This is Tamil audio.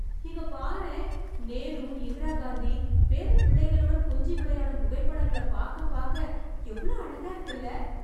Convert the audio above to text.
இங்க பாரேன்... நேரு, இந்திரா காந்தி பேரப்பிள்ளைகளுடன் கொஞ்சி விளையாடும் புகைப்படங்கள பாக்க பாக்க எவ்ளோ அழகா இருக்குல்ல.